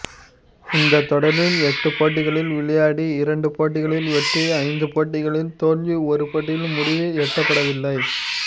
இந்தத் தொடரில் எட்டு போட்டிகளில் விளையாடி இரண்டு போட்டிகளில் வெற்றி ஐந்து போட்டிகளில் தோல்வி ஒரு போட்டியில் முடிவு எட்டப்படவில்லை